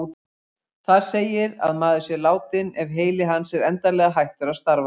Þar segir að maður sé látinn ef heili hans er endanlega hættur að starfa.